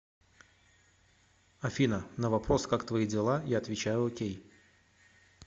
афина на вопрос как твои дела я отвечаю окей